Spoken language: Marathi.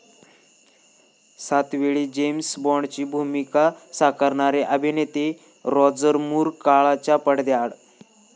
सातवेळी जेम्स बाॅन्डची भूमिका साकारणारे अभिनेते राॅजर मूर काळाच्या पडद्याआड